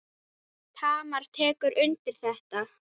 Tamar tekur undir þetta.